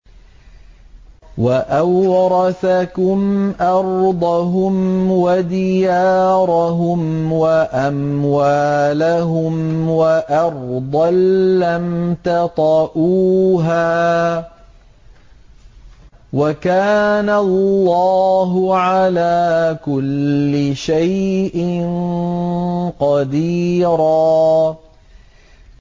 وَأَوْرَثَكُمْ أَرْضَهُمْ وَدِيَارَهُمْ وَأَمْوَالَهُمْ وَأَرْضًا لَّمْ تَطَئُوهَا ۚ وَكَانَ اللَّهُ عَلَىٰ كُلِّ شَيْءٍ قَدِيرًا